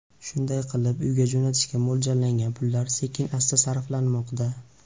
Shunday qilib uyga jo‘natishga mo‘ljallangan pullar sekin-asta sarflanmoqda.